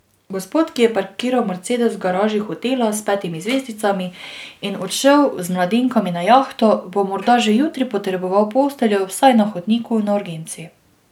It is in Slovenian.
Gospod, ki je parkiral mercedes v garaži hotela s petimi zvezdicami in odšel z mladenkami na jahto, bo morda že jutri potreboval posteljo vsaj na hodniku na urgenci.